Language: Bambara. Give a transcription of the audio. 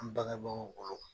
An bangɛbagaw bolo